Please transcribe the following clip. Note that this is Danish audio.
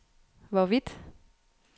hvorvidt